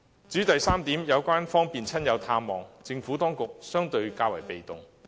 至於第三點，有關方便親友探望，政府當局角色相對較為被動。